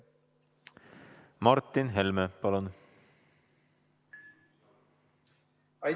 Martin Helme, palun!